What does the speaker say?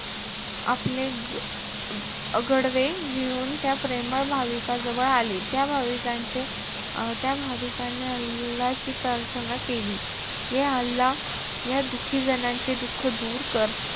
आपले ग~ गडवे घेऊन त्या प्रेमळ भाविकजवळ आले. त्या भाविकांचे~ त्या भाविकाने अल्लाची प्राथर्ना केली, या अल्ला या दुखी जणांचे दुःख दूर कर.